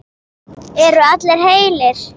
Eru allir heilir?